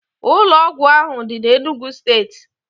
Ụlọ ọgwụ ahụ dị n'Enugwu steeti